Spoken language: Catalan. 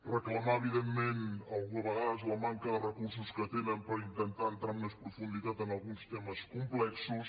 reclamar evidentment a vegades la manca de recursos que tenen per intentar entrar amb més profunditat en alguns temes complexos